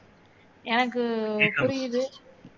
எனக்கு புரியுது